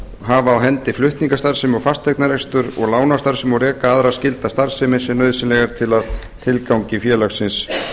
hafa á hendi flutningastarfsemi og fasteignarekstur og lánastarfsemi og reka aðra skylda starfsemi sem nauðsynleg er til að tilgangi félagsins